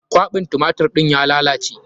Kwaɓin tumatir ɗin ya lalace.